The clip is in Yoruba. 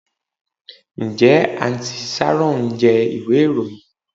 Njẹ Aunty sharon jẹ iwe iroyin?